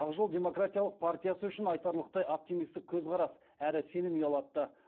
ақ жол демократиялық партиясы үшін айтарлықтай оптимистік көзқарас әрі сенім ұялатты